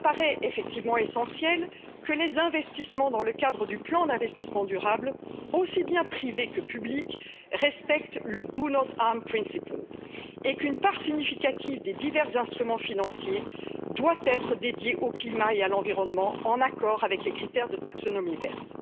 Il nous apparaît en effet essentiel que les investissements dans le cadre du plan d'investissement durable, aussi bien privés que publics, respectent le do no harm principle et qu'une part significative des divers instruments financiers soit dédiée au climat et à l'environnement, en accord avec les critères de taxonomie verte.